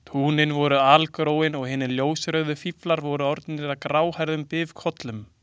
Túnin voru algróin og hinir ljósrauðu fíflar orðnir að gráhærðum bifukollum.